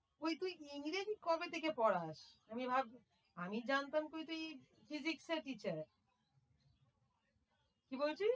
ওই তুই ইংরেজি কবে থেকে পড়াস? আমি আমি জানতাম তুই physics এর teacher কি বলছিস?